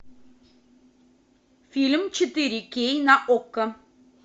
фильм четыре кей на окко